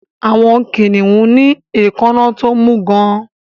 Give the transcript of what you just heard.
Àwọn kìnnìún ní èékáná tó mú gán-an